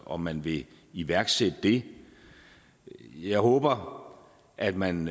om man vil iværksætte det jeg håber at man